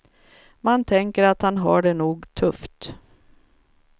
Man tänker att han har det nog tufft.